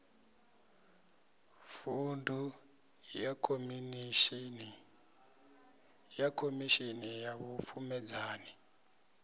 vuṅdu ya khomishini ya vhupfumedzani